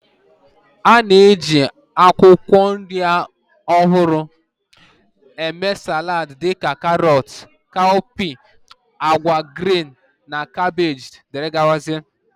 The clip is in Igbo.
A na-eji akwụkwọ nri ọhụrụ eme salad dị ka karọt, cowpeas, agwa green na kabeeji wdg